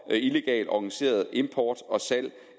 illegalt organiseret import og salg